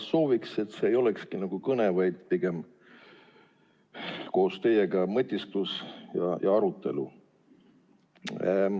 Ma sooviksin, et see ei olekski mitte nagu kõne, vaid pigem koos teiega mõtisklemine ja arutlemine.